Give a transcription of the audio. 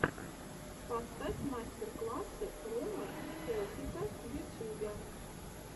поставь мастер класс ромы и хелпика в ютюбе